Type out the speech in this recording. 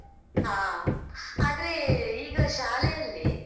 ಹಾ ಆದ್ರೆ ಈಗ ಶಾಲೆಯಲ್ಲಿ.